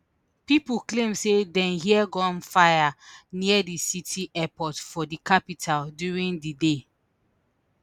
pipo claim say dem hear gunfire near di city airport for di capital during di day